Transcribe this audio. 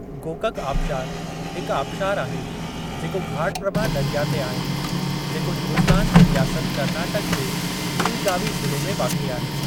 गोकक आबशारु हिक आबशारु आहे जेको घाट प्रभा दरिया ते आहे, जेको हिन्दुस्तान जे रियासत कर्नाटक जे बीलगावी ज़िले में वाक़िए आहे।